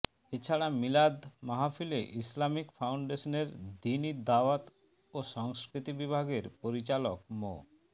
এ ছাড়া মিলাদ মাহফিলে ইসলামিক ফাউন্ডেশনের দ্বীনী দাওয়াত ও সংস্কৃতি বিভাগের পরিচালক মো